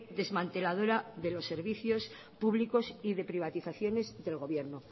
desmanteladora de los servicios públicos y de privatizaciones del gobierno